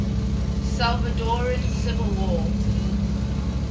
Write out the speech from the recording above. salvadoran civil war